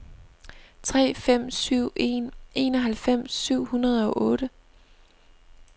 tre fem syv en enoghalvfems syv hundrede og otte